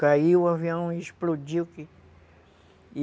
Caiu o avião e explodiu aqui.